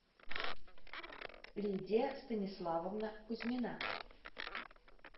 лидия станиславовна кузьмина